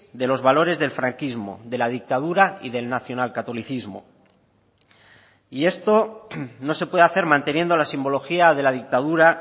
de los valores del franquismo de la dictadura y del nacionalcatolicismo y esto no se puede hacer manteniendo la simbología de la dictadura